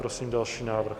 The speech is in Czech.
Prosím další návrh.